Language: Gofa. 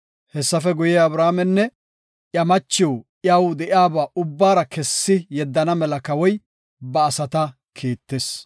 Hessafe guye, Abramenne iya machiw iyaw de7iyaba ubbara kessi yeddana mela Kawoy ba asata kiittis.